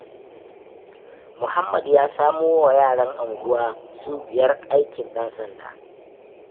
Muhammad ya samowa yaran unguwa su biyar aikin ɗan sanda.